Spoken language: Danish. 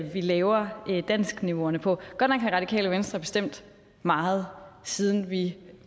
vi laver danskniveauerne på godt nok har radikale venstre bestemt meget siden vi